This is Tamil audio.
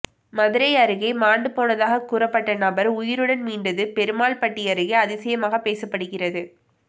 மதுரை அருகே மாண்டு போனதாக கூறப்பட்ட நபர் உயிருடன் மீண்டது பெருமாள் பட்டி அருகே அதிசயமாக பேசப்படுகிறது